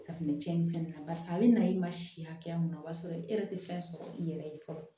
Safunɛ cɛn in fɛnɛ na barisa a bɛ na i ma si hakɛya mun na o b'a sɔrɔ e yɛrɛ tɛ fɛn sɔrɔ i yɛrɛ ye fɔlɔ